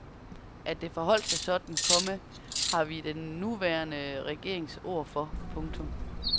At det forholdt sig sådan, komma har vi den nuværende regerings ord for. punktum